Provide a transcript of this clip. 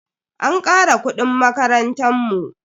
An kara kudin makarantan mu.